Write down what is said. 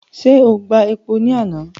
Ṣé o gba epo ni àná?